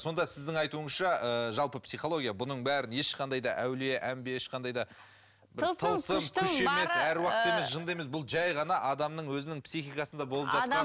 сонда сіздің айтуыңызша ы жалпы психология бұның бәрін ешқандай да әулие әмбие ешқандай да тылсым күштің бары ы бұл жай ғана адамның өзінің психикасында болып жатқан